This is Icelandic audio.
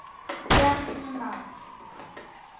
Bjarni Már.